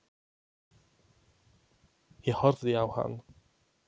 Ég horfði á hann.